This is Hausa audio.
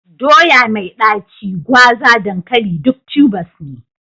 Doya mai ɗaci, gwaza, dankali duk tubers ne.